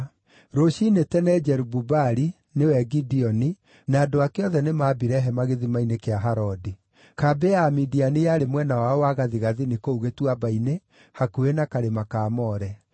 Rũciinĩ tene, Jerubu-Baali (nĩwe Gideoni) na andũ ake othe nĩmambire hema gĩthima-inĩ kĩa Harodi. Kambĩ ya Amidiani yarĩ mwena wao wa gathigathini kũu gĩtuamba-inĩ, hakuhĩ na karĩma ka More.